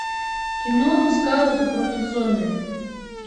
кино скауты против зомби